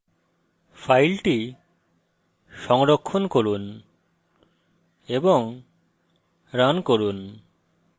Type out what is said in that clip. file সংরক্ষণ করে run করুন